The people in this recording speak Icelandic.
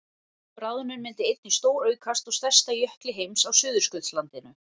bráðnun myndi einnig stóraukast á stærsta jökli heims á suðurskautslandinu